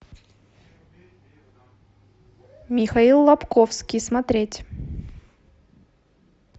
михаил лабковский смотреть